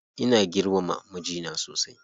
Ina girmama mijina sosai.